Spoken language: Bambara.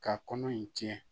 Ka kɔnɔ in jɛ